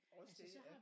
Også det ja